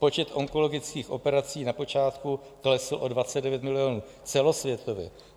Počet onkologických operací na počátku klesl o 29 milionů celosvětově.